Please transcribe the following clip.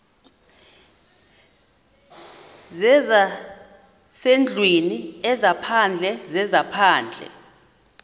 zezasendlwini ezaphandle zezaphandle